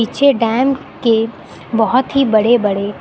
छह डैम के बहुत ही बड़े बड़े--